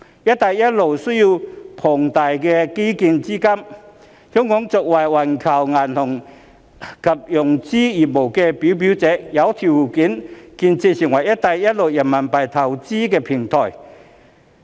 "一帶一路"建設需要龐大的基建資金，香港作為環球銀行及融資業務的表表者，有條件建設成為"一帶一路"人民幣投融資平台。